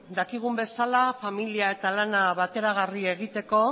dakigun bezala familia eta lana bateragarri egiteko